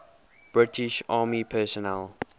british army personnel